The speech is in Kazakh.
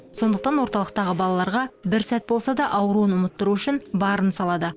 сондықтан орталықтағы балаларға бір сәт болса да ауруын ұмыттыру үшін барын салады